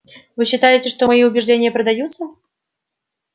вы считаете что мои убеждения продаются